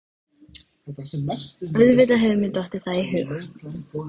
Auðvitað hefur mér dottið það í hug.